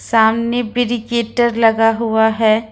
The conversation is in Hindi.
सामने प्रेडिकेटर लगा हुआ है।